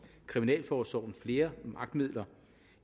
kriminalforsorgen flere magtmidler